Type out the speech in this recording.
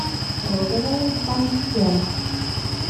розовая пантера